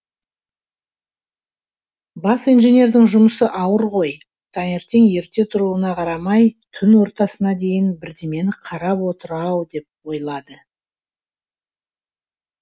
бас инженердің жұмысы ауыр ғой таңертең ерте тұруына қарамай түн ортасына дейін бірдемені қарап отыр ау деп ойлады